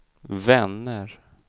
vänner